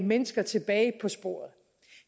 mennesker tilbage på sporet